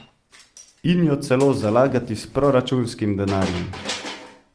In jo celo zalagati s proračunskim denarjem.